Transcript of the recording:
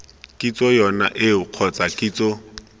kitso yone eo kgotsa kitso